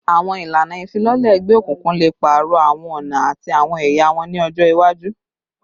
Awọn ilana ifilọlẹ egbeokunkun le paarọ awọn ọna ati awọn ẹya wọn ni ọjọ iwaju